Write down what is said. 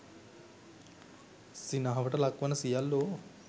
සිනහවට ලක් වන සියල්ලෝ